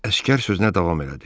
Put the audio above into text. Əsgər sözünə davam elədi.